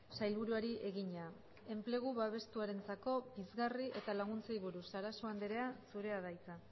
sailburuari egina enplegu babestuarentzako pizgarri eta laguntzei buruz sarasua andrea zurea da hitza